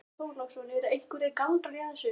Björn Þorláksson: Eru einhverjir galdrar í þessu?